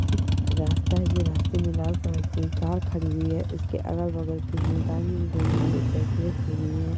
एक रास्ता हैं जो रास्ते में लाल कलर की कार खड़ी हुई है उसके अगल बगल कुछ भी कुछ साइकिले खड़ी हुई है।